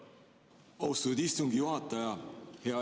Austatud istungi juhataja!